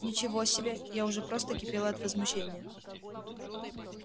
ничего себе я уже просто кипела от возмущения